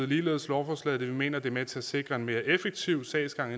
ligeledes lovforslaget da vi mener at det er med til at sikre en mere effektiv sagsgang